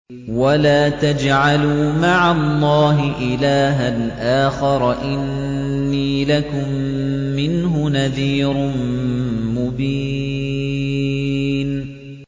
وَلَا تَجْعَلُوا مَعَ اللَّهِ إِلَٰهًا آخَرَ ۖ إِنِّي لَكُم مِّنْهُ نَذِيرٌ مُّبِينٌ